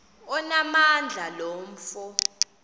onamandla lo mfo